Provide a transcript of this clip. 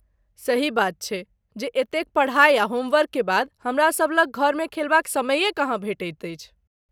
सही बात छै जे एतेक पढा़ई आ होमवर्क के बाद हमरा सभ लग घरमे खेलबाक समैये कहाँ भेटैत अछि।